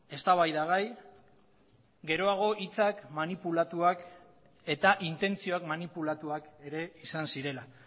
eztabaidagai geroago hitzak manipulatuak eta intentzioak manipulatuak ere izan zirela